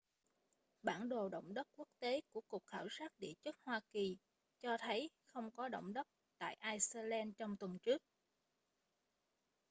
bản đồ động đất quốc tế của cục khảo sát địa chất hoa kỳ cho thấy không có động đất tại ai-xơ-len trong tuần trước